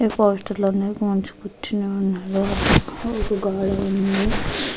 ఈ పోస్టర్ దగ్గర వ్యక్తనూ కూర్చుని ఉన్నాడు. వెనక గోడ ఉన్నది.